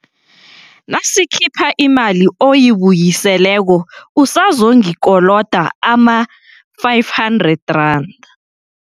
Nasikhipha imali oyibuyiseleko usazongikoloda ama-R500, 00.